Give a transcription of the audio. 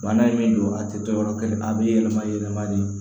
Bana in min don a tɛ to yɔrɔ kelen a bɛ yɛlɛma yɛlɛma de